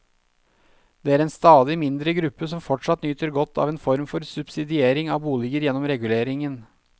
Det er en stadig mindre gruppe som fortsatt nyter godt av en form for subsidiering av boliger gjennom reguleringen.